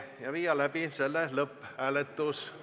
Viime läbi lõpphääletuse.